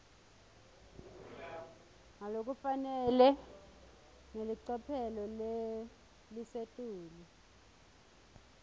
ngalokufanele ngelicophelo lelisetulu